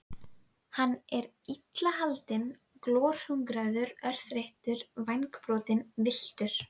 Hann er illa haldinn, glorhungraður, örþreyttur, vængbrotinn, villtur.